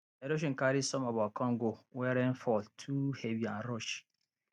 erosion carry some of our corn go when rain rain fall too heavy and rush